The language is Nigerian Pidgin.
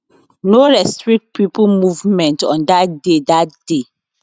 no restrict pipo movement on dat day dat day